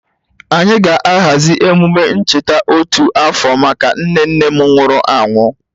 Anyị ga-ahazi emume ncheta otu afọ maka nne nne m nwụrụ anwụ.